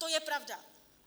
To je pravda!